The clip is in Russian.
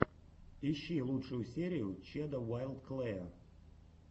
ищи лучшую серию чеда уайлд клэя